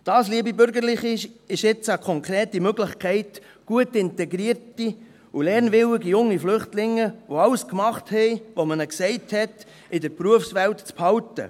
Das, liebe Bürgerliche, ist jetzt eine konkrete Möglichkeit, gut integrierte und lernwillige junge Flüchtlinge, die alles gemacht haben, was man ihnen gesagt hat, in der Berufswelt zu behalten.